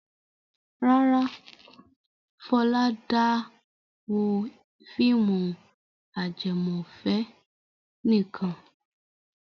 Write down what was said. Rárá, Fọlá dá wo fíìmù ajẹmọ́fẹ̀ẹ́ nìkan.